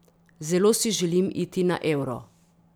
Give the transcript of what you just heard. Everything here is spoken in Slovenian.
Zelo si želim iti na Euro.